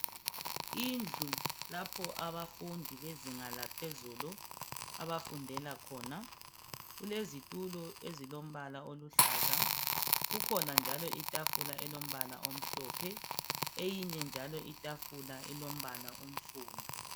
Indlu lapho abafundi bezinga laphezulu abafundela khona kulezitulo ezilombala oluhlaza kukhona njalo itafula elombala omhlophe eyinye njalo itafula ilombala onsundu.